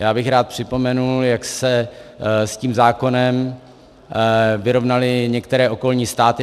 Já bych rád připomenul, jak se s tím zákonem vyrovnaly některé okolní státy.